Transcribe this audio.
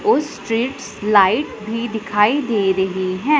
उस streets light भी दिखाई दे रही हैं।